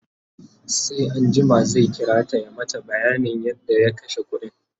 sai anjima zai kirata ya mata bayanin yadda ya kashe ƙuɗin